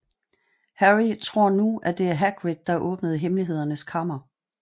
Harry tror nu at det er Hagrid der åbnede Hemmelighedernes Kammer